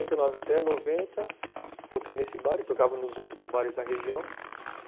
Então, de oitenta e nove até noventa, toquei nesse bar e tocava nos outros bares da região.